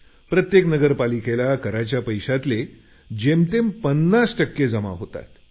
प्रत्येक नगरपालिकेला कराच्या पैशातले जेमतेम 50 टक्के जमा होतात